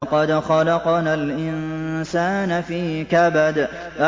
لَقَدْ خَلَقْنَا الْإِنسَانَ فِي كَبَدٍ